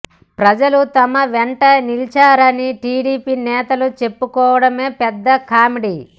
ప్రజలు తమ వెంట నిలిచారని టీడీపీ నేతలు చెప్పుకోవడమే పెద్ద కామెడీ